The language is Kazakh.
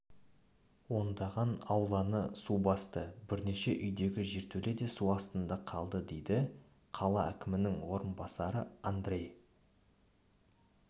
ондаған ауланы су басты бірнеше үйдегі жертөле де су астында қалды деді қала әкімінің орынбасарыандрей